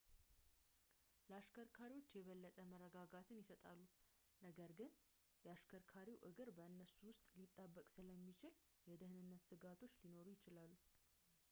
ለአሽከርካሪው የበለጠ መረጋጋትን ይሰጣሉ ነገር ግን የ አሽከርካሪው እግር በእነሱ ውስጥ ሊጣበቅ ስለሚችል የደህንነት ስጋቶች ሊኖሩት ይችላል